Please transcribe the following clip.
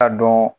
A dɔn